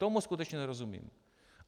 Tomu skutečně nerozumím.